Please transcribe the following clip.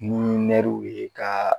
Munnu ye ka